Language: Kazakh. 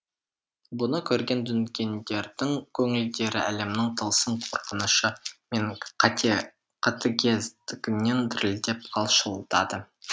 бұны көрген дүнгендердің көңілдері әлемнің тылсым қорқынышы мен қатыгездігінен дірілдеп қалшылдады